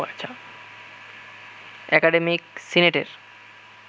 academic সিনেটের